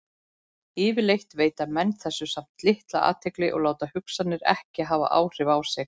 Yfirleitt veita menn þessu samt litla athygli og láta hugsanirnar ekki hafa áhrif á sig.